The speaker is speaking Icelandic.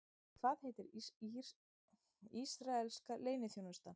Hvað heitir ísraelska leyniþjónustan?